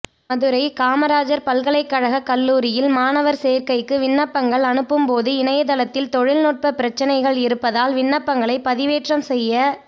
மதுரை காமராஜா் பல்கலைக்கழக கல்லூரியில் மாணவா் சோ்க்கைக்கு விண்ணப்பங்கள் அனுப்பும்போது இணையதளத்தில் தொழில்நுட்ப பிரச்னைகள் இருப்பதால் விண்ணப்பங்களை பதிவேற்றம் செய்ய